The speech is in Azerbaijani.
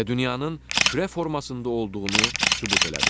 Və dünyanın kürə formasında olduğunu sübut elədi.